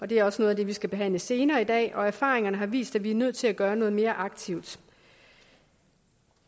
det er også noget af det vi skal behandle senere i dag og erfaringerne har vist at vi er nødt til at gøre noget mere aktivt